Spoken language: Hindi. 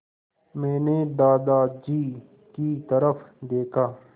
मैंने दादाजी की तरफ़ देखा